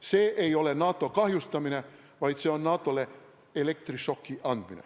See ei ole NATO kahjustamine, vaid see on NATO-le elektrišoki andmine.